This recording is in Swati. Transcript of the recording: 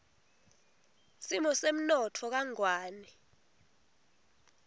simo semnotfo kangwane